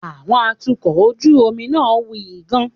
Àwọn atukọ̀ ojú omi náà wuyì gan-an.